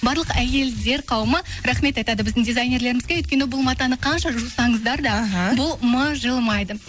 барлық әйелдер қауымы рахмет айтады біздің дизайнерлерімізге өйткені бұл матаны қанша жусаңыздар да іхі бұл мыжылмайды